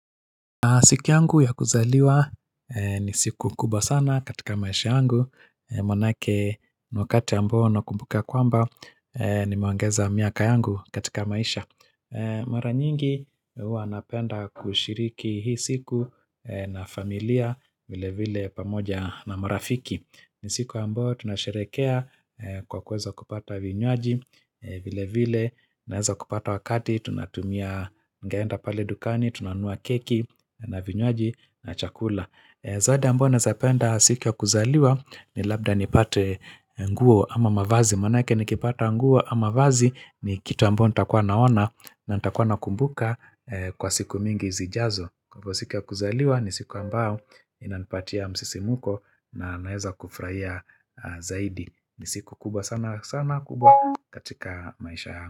Siku yangu ya kuzaliwa ni siku kubwa sana katika maisha yangu Manake ni wakati ambao nakumbuka kwamba nimeongeza miaka yangu katika maisha Mara nyingi huwa napenda kushiriki hii siku na familia vile vile pamoja na marafiki ni siku ambayo tunasherekea kwa kuweza kupata vinywaji vile vile naeza kupata wakati tunatumia tungeenda pale dukani tunanua keki na vinywaji na chakula zawadi ambayo naezapenda siki ya kuzaliwa ni labda nipate nguo ama mavazi manake nikipata nguo ama mavazi ni kita mbona nita kwa naona na nita kwa na kumbuka kwa siku mingi zijazo kwa siki ya kuzaliwa ni siku ambao inanipatia msisimuko na naeza kufraia zaidi ni siku kubwa sana sana kubwa katika maisha ya.